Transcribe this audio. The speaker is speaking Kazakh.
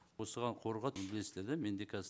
осыған қорға білесіздер де менде қазір